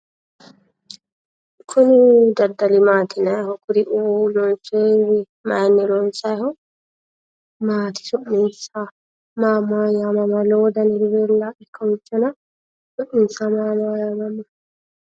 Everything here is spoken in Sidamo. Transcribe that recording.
Kuni daddali maati yinayiiho? maayiinni loonsaayiiho? maati su'minsa? su'minsa maa maa yaamamanno?